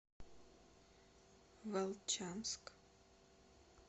волчанск